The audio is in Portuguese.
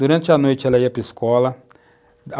Durante a noite, ela ia para a escola.